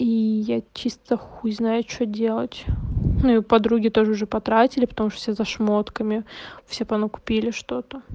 и я чисто хуй знаю что делать ну и подруги тоже уже потратили потому что все за шмотками все понакупили что-то